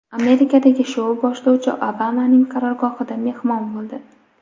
Amerikadagi shou boshlovchisi Obamaning qarorgohida mehmon bo‘ldi.